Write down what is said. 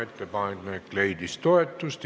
Ettepanek leidis toetust.